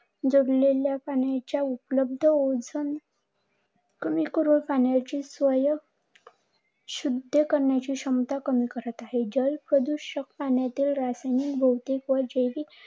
पाण्याच्या उपलब्ध ओझोन, पूर्ण पाण्याची सोय, शुद्ध करण्याची क्षमता कमी करत आहे. जल प्रदूषणाने रासायनिक, भौतिक व जैविक